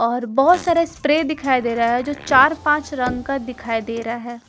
और बहोत सारा स्प्रे दिखाई दे रहा है जो चार पांच रंग का दिखाई दे रहा है।